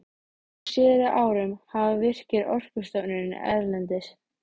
Á síðari árum hafa Virkir, Orkustofnun erlendis